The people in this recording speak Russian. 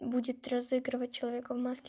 будет разыгрывать человека в маске